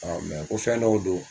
ko fɛn dɔw don